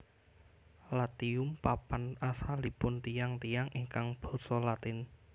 Latium papan asalipun tiyang tiyang ingkang basa Latin